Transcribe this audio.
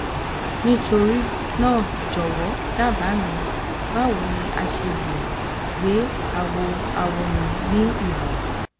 nitorina jọwọ daba mi bawo ni a ṣe le gbe awọawọ mi ni irọrun